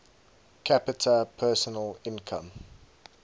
capita personal income